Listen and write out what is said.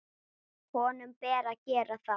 Honum ber að gera það.